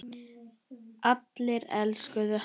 Allir elskuðu hann.